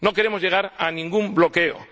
No queremos llegar a ningún bloqueo.